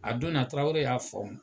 A don na Tarawele y'a